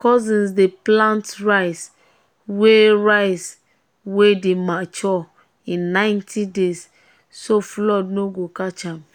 my cousins dey plant rice wey rice wey dey mature in ninety days so um flood no go catch am.